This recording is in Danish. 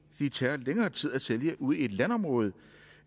det tager længere tid at sælge ude i et landområde